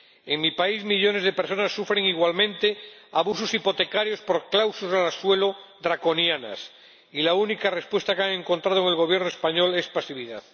En mi país, millones de personas sufren igualmente abusos hipotecarios por cláusulas suelo draconianas y la única respuesta que han encontrado en el Gobierno español es pasividad.